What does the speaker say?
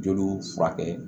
Jeliw furakɛ